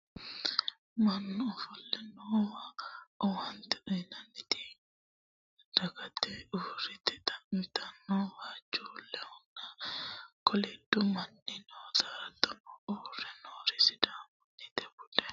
mannu ofolle noowa owaante uyiitannoti dagge uurrite xa'mitanna waajjuullunna koliddu manni noota hattono uurre noori sidaamunnita budu uddano uddire noota anfannite yaate